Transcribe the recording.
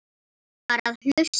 Hún var að hlusta.